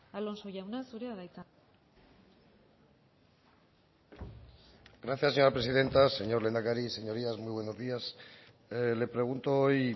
alonso jauna zurea da hitza gracias señora presidenta señor lehendakari señorías muy buenos días le pregunto hoy